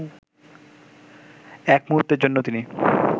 এক মূহুর্তের জন্যও তিনি